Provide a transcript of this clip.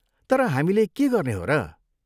तर, हामीले के गर्ने हो र?